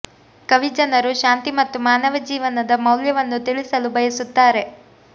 ಕವಿ ಜನರು ಶಾಂತಿ ಮತ್ತು ಮಾನವ ಜೀವನದ ಮೌಲ್ಯವನ್ನು ತಿಳಿಸಲು ಬಯಸುತ್ತಾರೆ